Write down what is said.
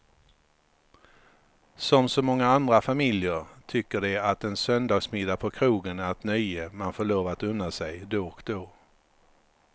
Som så många andra familjer tycker de att en söndagsmiddag på krogen är ett nöje man får lov att unna sig då och då.